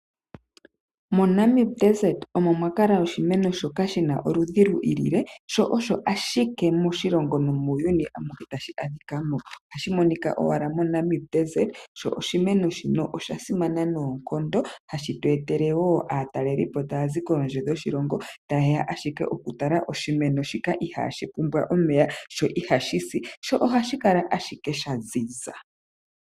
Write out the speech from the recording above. Mombuga yaNamib omo mwa kala oshimeno shoka shi na oludhi lwi ilile, sho osho ashike moshilongo nomuuyuni amuhe tashi monika mo. Ohashi monika owala mombuga yaNamib, sho oshimeno shino osha simana noonkondo hashi tu etele wo aatalelipo taya zi kondje yoshilongo taye ya okutala oshimeno shika ihaashi pumbwa omeya, sho ihashi si, sho ohashi kala ashike sha ziza.